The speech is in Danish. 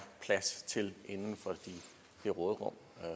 plads til inden for det råderum